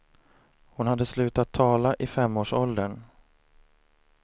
Hon hade slutat tala i femårsåldern.